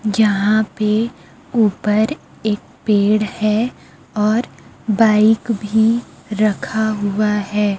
जहां पे ऊपर एक पेड़ है और बाइक भी रखा हुआ है।